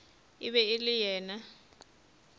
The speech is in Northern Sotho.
e be e le yena